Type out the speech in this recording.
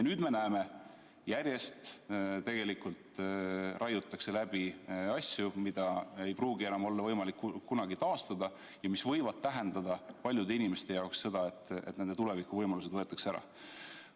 Nüüd me näeme, et järjest raiutakse läbi asju, mida ei pruugi enam olla võimalik kunagi taastada ja mis võivad tähendada paljude inimeste jaoks seda, et nende tulevikuvõimalused võetakse ära.